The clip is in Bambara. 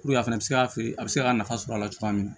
a fɛnɛ bɛ se ka feere a bɛ se ka nafa sɔrɔ a la cogoya min na